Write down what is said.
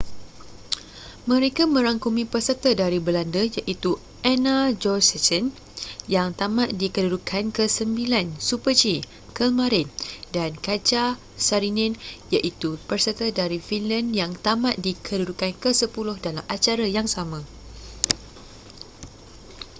mereka merangkumi peserta dari belanda iaitu anna jochemsen yang tamat di kedudukan ke sembilan super-g kelmarin dan katja saarinen iaitu peserta dari finland yang tamat di kedudukan ke sepuluh dalam acara yang sama